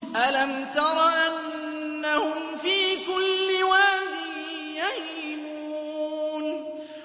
أَلَمْ تَرَ أَنَّهُمْ فِي كُلِّ وَادٍ يَهِيمُونَ